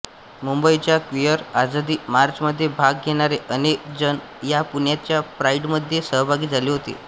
मुंबईच्या क्विअर आझादी मार्चमध्ये भाग घेणारे अनेकजण ह्या पुण्याचा प्राईडमध्ये सहभागी झाले होते